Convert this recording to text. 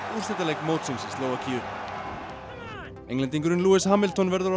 úrslitaleik mótsins í Slóvakíu lewis Hamilton verður á